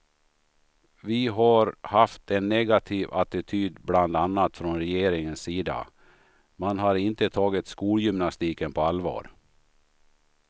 Vi har haft en negativ attityd bland annat från regeringens sida, man har inte tagit skolgymnastiken på allvar.